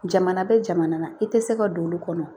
Jamana bɛ jamana i tɛ se ka don olu kɔnɔ